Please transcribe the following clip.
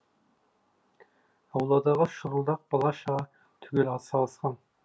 ауладағы шұрылдақ бала шаға түгел атсалысқан